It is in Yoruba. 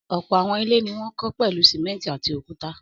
Ọ̀pọ̀ àwọn ilé ni wọ́n kọ́ pẹ̀lú sìmẹ́ńtì àti òkúta.